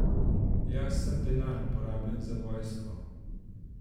Jaz sem denar, porabljen za vojsko.